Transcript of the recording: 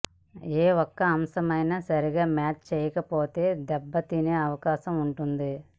ఏ ఒక్క అంశమైనా సరిగా మ్యాచ్ చేయకపోతే దెబ్బతినే అవకాశం ఉంటుంది